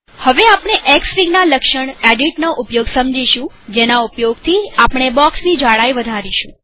હવે આપણે xfig ના લક્ષણ એડિટ નો ઉપયોગ સમજીશુંજેના ઉપયોગથીઆપણે બોક્ષની જાડાઈ વધારીશું